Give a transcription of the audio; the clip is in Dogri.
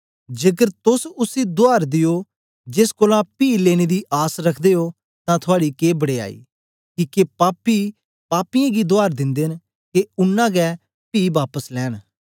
जेकर तोस उसी दुआर दियो जेस कोलां पी लेनें दी आस रखदे ओ तां थुआड़ी के बडयाई किके पापी पापियें गी दुआर दिन्दे न के उनां गै पी बापस लैंन